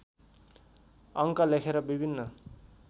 अङ्क लेखेर विभिन्न